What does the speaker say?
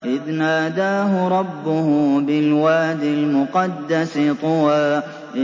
إِذْ نَادَاهُ رَبُّهُ بِالْوَادِ الْمُقَدَّسِ طُوًى